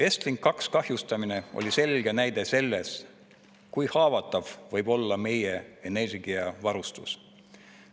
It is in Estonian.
Estlink 2 kahjustamine oli selge näide sellest, kui haavatav võib olla meie energiavarustus.